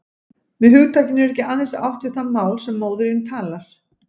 Með hugtakinu er ekki aðeins átt við það mál sem móðirin talar.